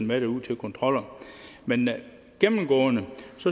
med derud til kontroller men gennemgående